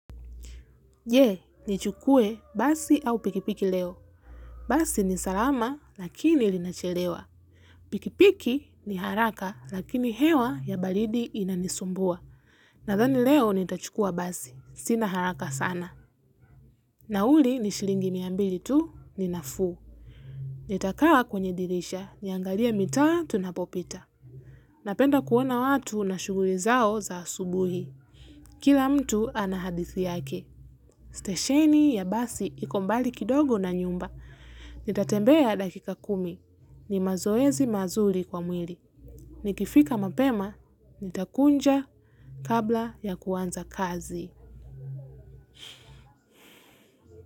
Je, nichukue basi au pikipiki leo? Basi ni salama lakini linachelewa. Pikipiki ni haraka lakini hewa ya baridi inanisumbua. Nadhani leo nitachukua basi. Sina haraka sana. Nauli ni shilingi mia mbili tu ni nafuu. Nitakaa kwenye dirisha. Niangalie mitaa tunapopita. Napenda kuona watu na shughuli zao za asubuhi. Kila mtu ana hadithi yake. Stesheni ya basi iko mbali kidogo na nyumba, nitatembea dakika kumi, ni mazoezi mazuri kwa mwili, nikifika mapema, nitakunja kabla ya kuanza kazi.